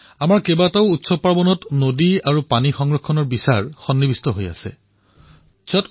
আমাৰ বহু উৎসৱত নদী আৰু পানী বচোৱাৰ ভাৱ বিশিষ্ট ৰূপত পৰিলক্ষিত হয়